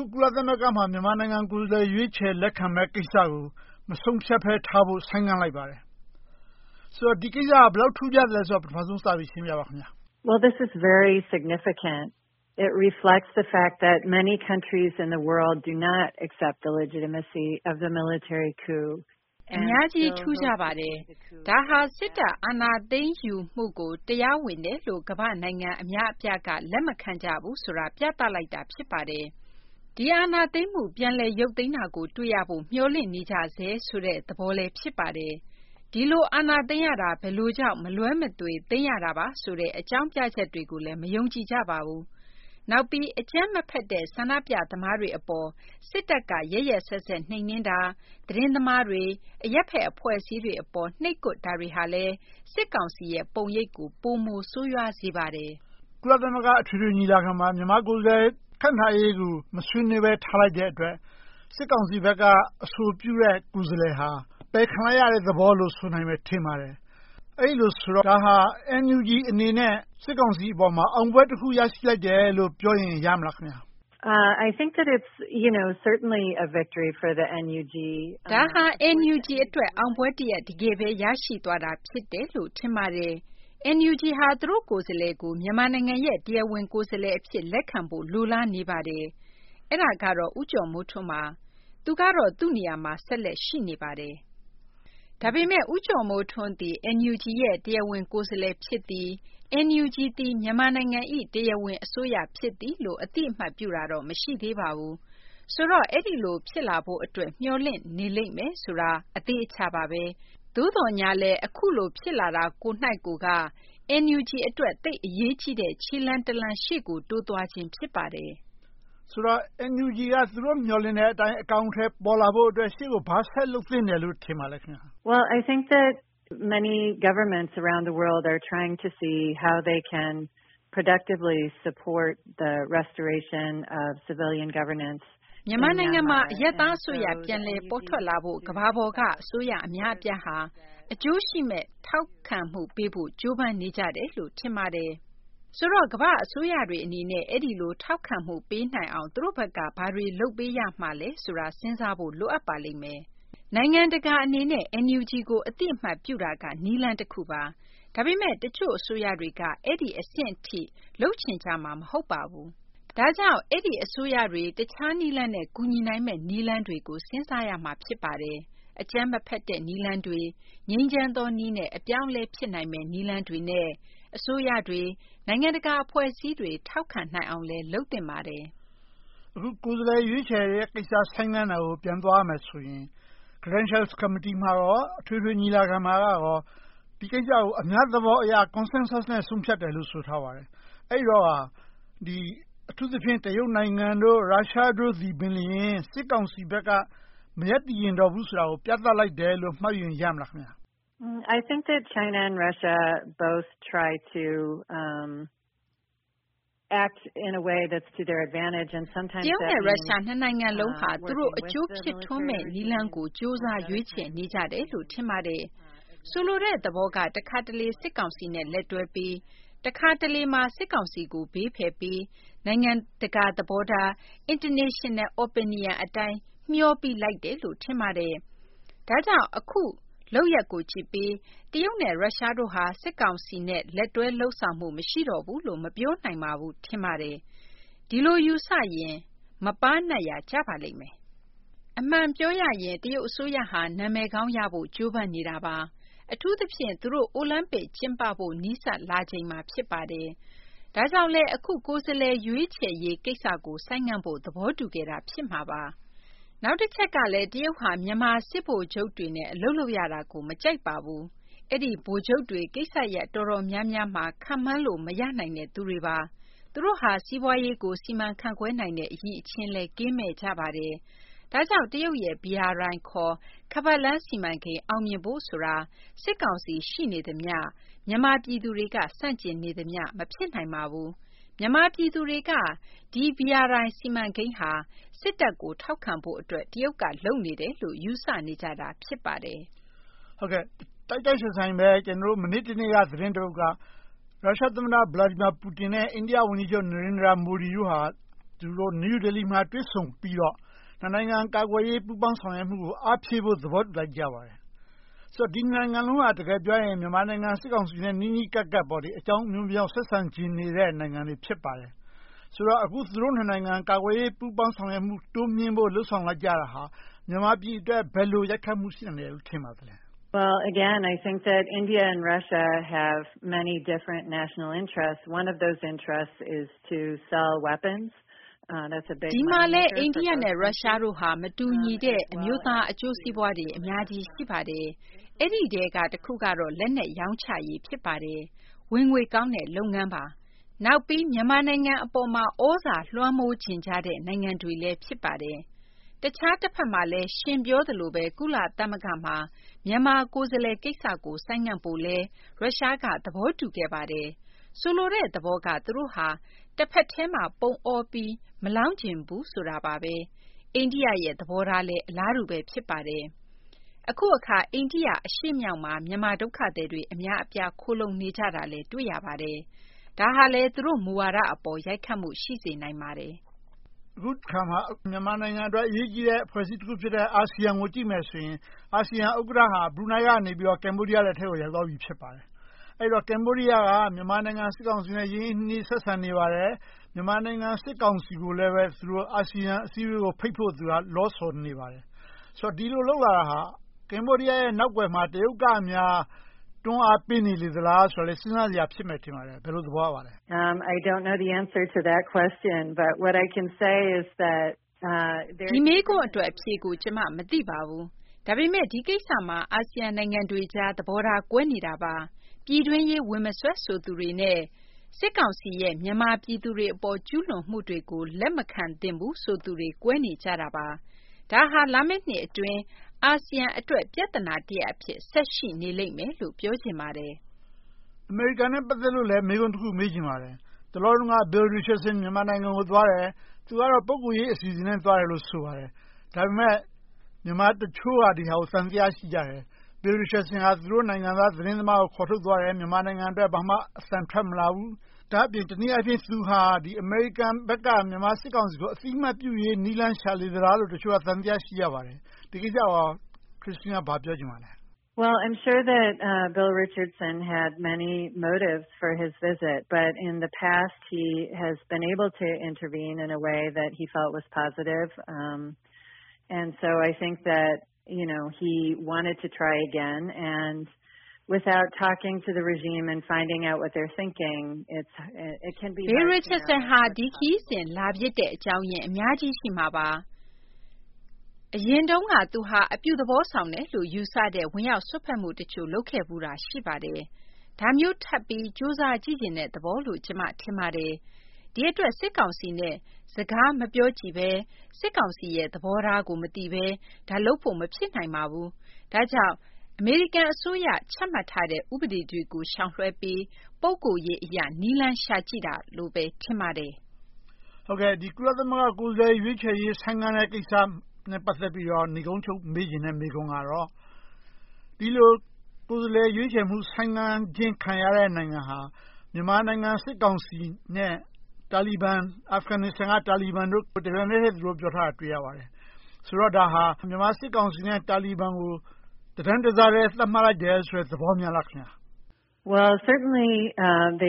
ု ကုလသမဂ္ဂမှာ မြန်မာနိုင်ငံကိုယ်စားလှယ် ရွေးချယ်လက်ခံမယ့်ကိစ္စကို မဆုံးဖြတ်ဘဲထားဖို့ ဆိုင်းငံ့လိုက်ပါတယ်။ ဆိုတော့ ဒီကိစ္စဟာ ဘယ်လောက်ထူးခြားသလဲဆိုတာကို ပထမဦးဆုံး စပြီးရှင်းပြပါ။ အများကြီးထူးခြားပါတယ်။ ဒါဟာ စစ်တပ်အာဏာသိမ်းယူမှုကို တရားဝင်တယ်လို့ ကမ္ဘာ့နိုင်ငံအများအပြားက လက်မခံကြဘူးဆိုတာကို ပြသလိုက်တာ ဖြစ်ပါတယ်။ ဒီအာဏာသိမ်းမှု ပြန်လည်ရုတ်သိမ်းတာကို တွေ့ရဖို့ မျှော်လင့်နေကြဆဲ သဘောလည်း ဖြစ်ပါတယ်။ ဒီလိုအာဏာသိမ်းရတာ ဘယ်လိုကြောင့် မလွဲမသွေး သိမ်းရတာဆိုတဲ့ အကြောင်းပြချက်တွေကိုလည်း မယုံကြည်ကြပါဘူး။ နောက်ပြီး အကြမ်းမဖက်တဲ့ ဆန္ဒပြသမားတွေအပေါ် စစ်တပ်က ရက်ရက်စက်စက် နှိမ်နင်းတာ၊ သတင်းသမားတွေ၊ အရပ်ဘက်အဖွဲ့အစည်းတွေအပေါ် နှိပ်ကွပ်တာတွေကလည်း စစ်ကောင်စီရဲ့ပုံရိပ်ကို ပိုမိုဆိုးရွားစေပါတယ်။ ကုလသမဂ္ဂ အထွေထွေညီလာခံမှာ မြန်မာကိုယ်စားလှယ် ခန့်ထားရေးကို မဆွေးနွေးဘဲ ထားလိုက်တဲ့အတွက် စစ်ကောင်စီဘက်က အဆိုပြုတဲ့ ကိုယ်စားလှယ်ဟာ အပယ်ခံလိုက်ရတဲ့သဘောလို ဆိုနိုင်မယ်ထင်ပါတယ်။ အဲဒီလိုဆိုတော့ NUG အနေနဲ့ စစ်ကောင်စီအပေါ်မှာ အောင်ပွဲတခု ရရှိလိုက်တယ်လို့ ပြောရင်ရမလား။ ဒါဟာ NUG အတွက် အောင်ပွဲတရပ် တကယ်ပဲ ရရှိသွားတာ ဖြစ်တယ်လို့ ထင်ပါတယ်။ NUG က သူတို့ကိုယ်စားလှယ်ကို မြန်မာနိုင်ငံရဲ့ တရားဝင်ကိုယ်စားလှယ်အဖြစ် လက်ခံဖို့ လိုလားနေပါတယ်။ အဲဒါကတော့ ဦးကျော်မိုးထွန်းပါ။ သူကတော့ သူ့နေရာမှာ ဆက်လက်ရှိနေပါတယ်။ ဒါပေမဲ့ ဦးကျော်မိုးထွန်းသည် NUG ရဲ့ တရားဝင်ကိုယ်စားလှယ် ဖြစ်သည်။ NUG သည် မြန်မာနိုင်ငံ၏ တရားဝင်အစိုးရ ဖြစ်သည်လို့ အသိအမှတ်ပြုတာတော့ မရှိသေးပါဘူး။ ဆိုတော့ အဲဒီလို ဖြစ်လာဖို့အတွက် မျှော်လင့်နေလိမ့်မယ်ဆိုတာ အသေအချာပါပဲ။ သို့သော်ငြားလဲ အခုလိုဖြစ်လာတာကိုယ်က NUG အတွက် သိပ်အရေးကြီးတဲ့ ခြေလှမ်းတလှမ်း ရှေ့ကိုတိုးသွားခြင်း ဖြစ်ပါတယ်။ ဆိုတော့ NUG က သူတို့မျှော်လင့်တဲ့အတိုင်း အကောင်အထည် ဖော်လာဖို့အတွက် ရှေ့ကိုဘာဆက်လုပ်ဖို့ လိုမယ်လို့ ထင်ပါသလဲ။ မြန်မာနိုင်ငံမှာ အရပ်သားအစိုးရ ပြန်လည်ပေါ်ထွက်လာဖို့ ကမ္ဘာပေါ်က အစိုးရအများအပြားဟာ အကျိုးရှိမယ့် ထောက်ခံမှုပေးဖို့ ကြိုးပမ်းနေကြတယ်လို့ ထင်ပါတယ်။ ဆိုတော့ ကမ္ဘာ့အစိုးရတွေအနေနဲ့ အဲဒီလို ထောက်ခံမှု ပေးနိုင်အောင် သူတို့ဘက်က ဘာတွေလုပ်ပေးရမလဲဆိုတာတွေကို စဉ်းစားဖို့ လိုအပ်ပါလိမ့်မယ်။ နိုင်ငံတကာအနေနဲ့ NUG ကို အသိအမှတ်ပြုတာက နည်းလမ်းတခုပါ။ ဒါပေမဲ့ တချို့အစိုးရတွေက အဲဒီအဆင့်ထိ လုပ်ချင်ကြမှာ မဟုတ်ပါဘူး။ ဒါကြောင့် အဲဒီအစိုးရတွေ တခြားနည်းလမ်းနဲ့ ကူညီနိုင်မယ့် နည်းလမ်းတွေကို စဉ်းစားရမှာ ဖြစ်ပါတယ်။ အကြမ်းမဖက်တဲ့နည်းလမ်းတွေ ငြိမ်းချမ်းသောနည်းနဲ့ အပြောင်းအလဲဖြစ်နိုင်မယ့် နည်းလမ်းတွေနဲ့ အစိုးရတွေ နိုင်ငံတကာအဖွဲ့အစည်းတွေ ထောက်ခံနိုင်အောင်လည်း လုပ်သင့်ပါတယ်။ အခု ကိုယ်စားလှယ်ရွေးချယ်တဲ့ကိစ္စ ဆိုင်းငံ့တာကို ပြန်သွားရမယ်ဆိုရင် ဂရန်ရှာကော်မတီနဲ့ အထွေထွေညီလာခံတို့မှာ ဒီကိစ္စကို အများသဘောအရ consensus နဲ့ ဆုံးဖြတ်တယ်လို့ ဆိုထားပါတယ်။ အဲဒီတော့ကာ အထူးသဖြင့် တရုတ်၊ ရုရှားတို့သည်ပင် စစ်ကောင်စီဘက်က မရပ်တည်ချင်တော့ဘူးဆိုတာကို ပြသလိုက်တယ်လို့ မှတ်ယူရင်ရမလား။ တရုတ်နဲ့ ရုရှား နှစ်နိုင်ငံလုံးက သူတို့အကျိုးဖြစ်ထွန်းမယ့်နည်းလမ်းကို ကြိုးစားရွေးချယ်နေကြတယ်လို့ ထင်ပါတယ်။ ဆိုလိုတဲ့သဘောက တခါတလေ စစ်ကောင်စီနဲ့ လက်တွဲပြီး တခါတလေမှာ စစ်ကောင်စီကို ဘေးဖယ်ပြီး၊ နိုင်ငံတကာသဘောထား International Opinion အတိုင်း မျှောပြီးလိုက်တယ်လို့ ထင်ပါတယ်။ ဒါကြောင့် အခုလုပ်ရပ်ကိုကြည့်ပြီး တရုတ်နဲ့ ရုရှားတို့ဟာ စစ်ကောင်စီနဲ့ လက်တွဲလုပ်ဆောင်လိုမှု မရှိတော့ဘူးလို့ မပြောနိုင်ပါဘူးလို့ ထင်ပါတယ်။ ဒီလိုယူဆရင် မပါးနပ်ရာ ကျပါလိမ့်မယ်။ အမှန်ပြောရရင် တရုတ်အစိုးရဟာ နာမည်ကောင်းရဖို့ ကြိုးစားနေတာပါ။ အထူးသဖြင့် သူတို့ အိုလံပစ် ကျင်းပဖို့ နီးစပ်လာချိန်မှာ ဖြစ်ပါတယ်။ ဒါကြောင့်လဲ အခု ကိုယ်စားလှယ်ရွေးချယ်ရေးကိစ္စကို ဆိုင်းငံ့ဖို့ သဘောတူခဲ့တာ ဖြစ်မှာပါ။ နောက်တချက်ကလဲ တရုတ်ဟာ မြန်မာစစ်ဗိုလ်ချုပ်တွေနဲ့ အလုပ်လုပ်ရတာကို မကြိုက်ပါဘူး။ အဲဒီဗိုလ်ချုပ်တွေ ကိစ္စရပ် အတော်များများမှာ ခန့်မှန်းလို့ မရနိုင်တဲ့သူတွေပါ။ သူတို့ဟာ စီးပွားရေးကို စီမံခန့်ခွဲနိုင်တဲ့ အရည်အျင်းလည်း ကင်းမဲ့ကြပါတယ်။ ဒါကြောင့် တရုတ်ရဲ့ BRI ခေါ် ခါးပတ်လမ်း စီမံကိန်း အောင်မြင်ဖို့ဆိုတာ စစ်ကောင်စီ ရှိနေသမျှ မြန်မာပြည်သူတွေက ဆန့်ကျင်နေသမျှ မဖြစ်နိုင်ပါဘူး။ မြန်မာနိုင်ငံတွေက ဒီ BRI စီမံကိန်းဟာ စစ်တပ်ကို ထောက်ခံဖို့အတွက် တရုတ်က လုပ်နေတယ်လို့ ယူဆနေကြတာ ဖြစ်ပါတယ်။ တိုက်တိုက်ဆိုင်ဆိုင်ပဲ မနေ့တနေ့က သတင်းတပုဒ်က ရုရှာသမ္မတ Vladimir Putin နဲ့ အိန္ဒိယဝန်ကြီးချုပ် Nerendra Modi တို့ နယူးဒေလီမှာ တွေ့ဆုံပြီးတော့ နှစ်နိုင်ငံ ကာကွယ်ရေးပူးပေါင်းဆောင်ရွက်မှုကို အားဖြည့်ဖို့ သဘောတူလိုက်ကြပါတယ်။ ဆိုတော့ ဒီနှစ်ငံစလုံးဟာ တကယ်ပြောရင် မြန်မာနိုင်ငံစစ်ကောင်စီနဲ့ နီးနီးကပ်ကပ် အကြောင်းအမျိုးမျိုးပြ ဆက်ဆံချင်ကြတဲ့ နိုင်ငံတွေ ဖြစ်ပါတယ်။ ဆိုတော့ သူတို့နှစ်နိုင်ငံ ကာကွယ်ရေးပူးပေါင်းဆောင်ရွက်မှု တိုးမြှင့်ဖို့ လုပ်ဆောင်လိုက်ကြတာဟာ မြန်မာပြည်အတွက် ဘယ်လိုရိုက်ခတ်မှု ရှိနိုင်မယ်လို့ ထင်ပါသလဲ။ ဒီမှာလဲ အိန္ဒိယနဲ့ ရုရှားတို့ဟာ မတူညီတဲ့ အမျိုးသားအကျိုးစီးပွားတွေ အများကြီးရှိပါတယ်။ အဲဒီထဲက တခုကတော့ လက်နက်ရောင်းချရေး ဖြစ်ပါတယ်။ ဝင်ငွေကောင်းတဲ့ လုပ်ငန်းပါ။ နောက်ပြီး မြန်မာနိုင်ငံအပေါ်မှာ သြဇာလွှမ်းမိုးချင်ကြတဲ့ နိုင်ငံတွေလည်း ဖြစ်ပါတယ်။ တခြားတဘက်မှာလဲ ရှင်ပြောသလိုပဲ ကုလသမဂ္ဂမှာ မြန်မာကိုယ်စားလှယ်ကိစ္စကို ဆိုင်းငံ့ဖို့ကိုလည်း ရုရှားက သဘောတူခဲ့ပါတယ်။ ဆိုလိုတဲ့သဘောက သူတို့ဟာ တဘက်တည်းမှာ ပုံအောပြီး မလောင်းချင်ကြဘူးဆိုတာပါပဲ။ အိန္ဒိယရဲ့ သဘောထားလဲ အလားတူပဲ ဖြစ်ပါတယ်။ အခုအခါ အိန္ဒိယ အရှေ့မြောက်မှာ မြန်မာဒုက္ခသည်တွေ အများအပြား ခိုလှုံနေကြတာလဲ တွေ့ရပါတယ်။ ဒါဟာလဲ သူတို့မူဝါဒအပေါ် ရိုက်ခတ်မှု ရှိစေနိုင်ပါတယ်။ အခုအခါမှာ မြန်မာနိုင်ငံအတွက် အရေးကြီးတဲ့ အဖွဲ့အစည်းတခုဖြစ်တဲ့ အာဆီယံကို ကြည့်မယ်ဆိုရင် အာဆီယံဥက္ကဋ္ဌဟာ ဘရူးနိုင်းကနေ ကမ္ဘောဒီးယား လက်ထဲကို ရောက်သွားပြီ ဖြစ်ပါတယ်။ အဲဒီတော့ ကမ္ဘောဒီးယားက မြန်မာနိုင်ငံစစ်ကောင်စီနဲ့ ရင်းရင်းနှီးနှီး ဆက်ဆံနေပါတယ်။ မြန်မာနိုင်ငံ စစ်ကောင်စီကိုလည်း သူတို့ အာဆီယံအစည်းအဝေးကို ဖိတ်ဖို့ သူက လောဆော်နေပါတယ်။ ဒီလိုလုပ်လာတာဟာ ကမ္ဘောဒီးယားရဲ့ နောက်ကွယ်မှာ တရုတ်ကများ တွန်းအားပေးနေသလားဆိုတာလဲ စဉ်းစားစရာ ဖြစ်မယ်ထင်ပါတယ်။ ဘယ်လိုသဘောရပါသလဲ။ ဒီမေးခွန်းအတွက် အဖြေကို ကျမ မသိပါဘူး။ ဒါပေမဲ့ ဒီကိစ္စမှာ အာဆီယံနိုင်ငံတွေကြား သဘောထားကွဲနေတာပါ။ ပြည်တွင်းရေး ဝင်မစွက်ဆိုသူတွေနဲ့ စစ်ကောင်စီရဲ့ မြန်မာပြည်သူတွေအပေါ် ကျူးလွန်မှုတွေကို လက်မခံသင့်ဘူးဆိုသူတွေ ကွဲနေကြတာပါ။ ဒါဟာ လာမယ့်နှစ်အတွင်း အာဆီယံအတွက် ပြဿနာတရပ်အဖြစ် ဆက်ရှိနေလိမ့်မယ်လို့ ပြောချင်ပါတယ်။ အမေရိကန်နဲ့ ပတ်သက်လို့လဲ မေးခွန်းတခု မေးချင်ပါတယ်။ တလောတုန်းက Bill Richardson မြန်မာနိုင်ငံကိုသွားတယ်။ သူကတော့ ပုဂ္ဂိုလ်ရေး အစီအစဉ်နဲ့ သွားတယ်လို့ ဆိုပါတယ်။ ဒါပေမဲ့ မြန်မာတချို့က ဒီဟာကို သံသယ ရှိကြတယ်။ Bill Richardson ဟာ သူတို့နိုင်ငံသား သတင်းသမားကို ခေါ်ထုတ်သွားတယ်။ မြန်မာနိုင်ငံအတွက် ဘာမှအသံထွက်မလာဘူး။ ဒါ့အပြင် တနည်းအားဖြင့် သူဟာ အမေရိကန်ဘက်က မြန်မာစစ်ကောင်စီကို အသိအမှတ်ပြုရေး နည်းလမ်းရှာလေသလားလို့ တချို့က သံသယ ရှိကြပါတယ်။ ဒီကိစ္စကို Christina ဘာပြောချင်ပါသလဲ။ Bill Richardson ဟာ ဒီခရီးစဉ် လာဖြစ်တဲ့အကြောင်းရင်း အများကြီးရှိမှာပါ။ အရင်တုန်းက သူဟာ အပြုသဘောဆောင်တယ်လို့ ယူဆတဲ့ ဝင်ရောက်စွက်ဖက်မှုတချို့ လုပ်ခဲ့ဖူးတာ ရှိပါတယ်။ ဒါမျိုးထပ်ပြီး ကြိုးစားကြည့်ချင်တဲ့သဘောလို့ ကျမ ထင်ပါတယ်။ ဒီအတွက် စစ်ကောင်စီနဲ့ စကားမပြောကြည့်ဘဲ စစ်ကောင်စီရဲ့ သဘောထားကို မသိဘဲ။ ဒါကိုလုပ်ဖို့ မဖြစ်နိုင်ပါဘူး။ ဒါကြောင့် အမေရိကန်အစိုးရ ချမှတ်ထားတဲ့ ဥပဒေတွေကို ရှောင်လွှဲပြီး ပုဂ္ဂိုလ်ရေးအရ နည်းလမ်းရှာကြည့်တာလို့ပဲ ထင်ပါတယ်။ ကုလသမဂ္ဂ ကိုယ်စားလှယ် ရွေးချယ်ရေး ဆိုင်းငံ့တဲ့ကိစ္စနဲ့ ပတ်သက်ပြီးတော့ နိဂုံးချုပ် မေးချင်တဲ့ မေးခွန်းကတော့ ဒီလိုကိုယ်စားလှယ် ရွေးချယ်မှု ဆိုင်းငံ့ခြင်း ခံရတဲ့ နိုင်ငံဟာ မြန်မာနိုင်ငံ စစ်ကောင်စီနဲ့ တာလီဘန် အာဖဂန်နိစ္စတန်တို့ကို တပြိုင်တည်း ပြောထားတာကို တွေ့ရပါတယ်။ ဆိုတော့ ဒါဟာ မြန်မာစစ်ကောင်စီနဲ့ တာလီဘန်တို့ကို တတန်းတစားထဲ သတ်မှတ်လိုက်တယ်ဆိုတဲ့ သဘောများလား။ သ